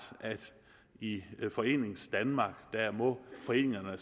at i foreningsdanmark må foreningerne